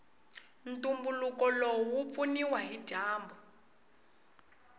ntumbuluko lowu wupfuniwa hhijambu